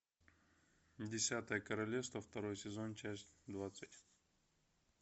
десятое королевство второй сезон часть двадцать